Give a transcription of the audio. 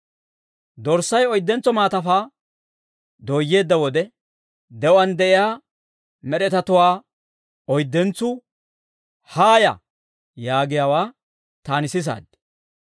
Dorssay oyddentso maatafaa dooyyeedda wode, de'uwaan de'iyaa med'etatuwaa oyddentsuu, «Haaya!» yaagiyaawaa, taani sisaad.